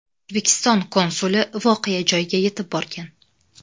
O‘zbekiston konsuli voqea joyiga yetib borgan .